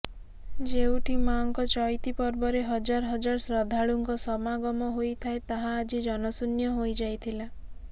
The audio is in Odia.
ଯେଉଠି ମାଙ୍କ ଚଇତି ପର୍ବରେ ହଜାର ହଜାର ଶ୍ରଦ୍ଧାଳୁଙ୍କ ସମାଗମ ହୋଇଥାଏ ତାହା ଆଜି ଜନଶୁନ୍ୟ ହୋଇଯାଇଥିଲା